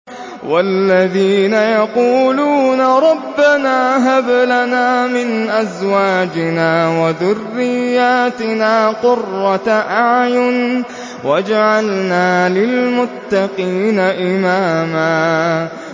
وَالَّذِينَ يَقُولُونَ رَبَّنَا هَبْ لَنَا مِنْ أَزْوَاجِنَا وَذُرِّيَّاتِنَا قُرَّةَ أَعْيُنٍ وَاجْعَلْنَا لِلْمُتَّقِينَ إِمَامًا